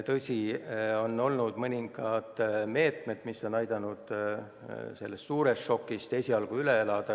Tõsi, on olnud mõningaid meetmeid, mis on aidanud selle suure šoki esialgu üle elada.